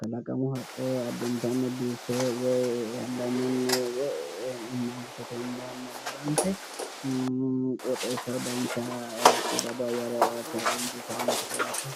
Kalaqamu haqqe addintanni biiffe woyi dambanyunni woyi mangistete hundaanni agarante qooxeessaho dancha qiidado ayyere aate injiitawonkete yaate.